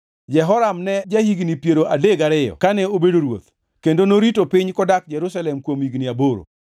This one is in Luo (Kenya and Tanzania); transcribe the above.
Jehoram ne ja-higni piero adek gariyo kane obedo ruoth, kendo norito piny kodak Jerusalem kuom higni aboro.